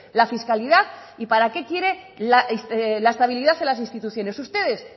la fiscalidad y para que quiere la estabilidad en las instituciones ustedes